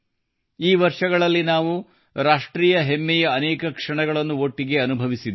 ಈ ವರ್ಷಗಳಲ್ಲಿ ನಾವು ರಾಷ್ಟ್ರೀಯ ಹೆಮ್ಮೆಯ ಅನೇಕ ಕ್ಷಣಗಳನ್ನು ಒಟ್ಟಿಗೆ ಅನುಭವಿಸಿದ್ದೇವೆ